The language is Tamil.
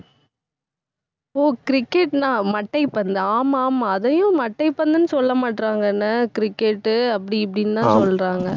ஓ, cricket னா மட்டைப்பந்து. ஆமா ஆமாஅதையும் மட்டைப்பந்துன்னு சொல்ல மாட்றாங்கன்ன cricket டு அப்படி, இப்படின்னுதான் சொல்றாங்க